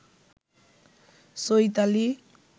Chaitali